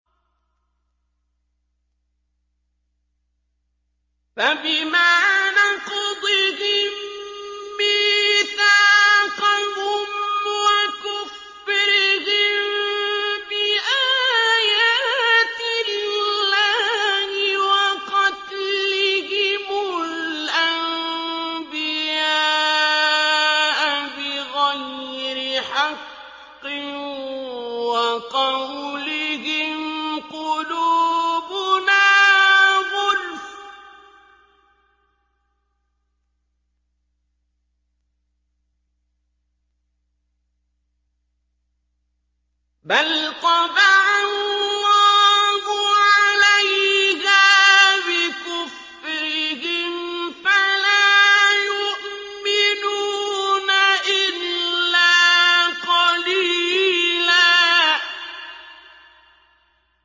فَبِمَا نَقْضِهِم مِّيثَاقَهُمْ وَكُفْرِهِم بِآيَاتِ اللَّهِ وَقَتْلِهِمُ الْأَنبِيَاءَ بِغَيْرِ حَقٍّ وَقَوْلِهِمْ قُلُوبُنَا غُلْفٌ ۚ بَلْ طَبَعَ اللَّهُ عَلَيْهَا بِكُفْرِهِمْ فَلَا يُؤْمِنُونَ إِلَّا قَلِيلًا